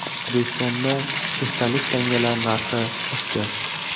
O‘zbekistonda esdalik tangalar narxi oshdi.